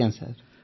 ଆଜ୍ଞା ସାର୍